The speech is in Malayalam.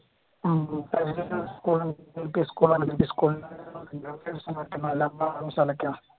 ഉം ഉം